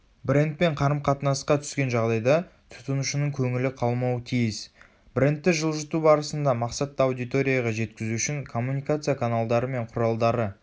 брендпен қарым-қатынасқа түскен жағдайда тұтынушының көңілі қалмауы тиіс.брендті жылжыту барысында мақсатты аудиторияға жеткізу үшін коммуникация каналдары мен құралдары